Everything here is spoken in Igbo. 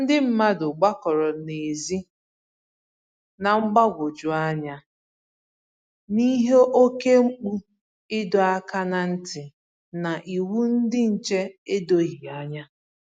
ndị mmadụ gbakọrọ n'ezi, na mgbagwoju anya n'ihi oke mkpu ịdọ áká na ntị na iwu ndị nche edoghi ànyà